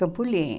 Campo Limpo.